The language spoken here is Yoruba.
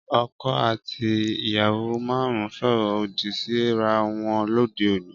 Ọkọ àti ìyàwó máhun soro odi Si rà wọn lóde òní